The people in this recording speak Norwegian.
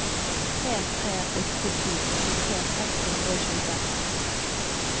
tre tre åtte to åttitre seks hundre og tjueseks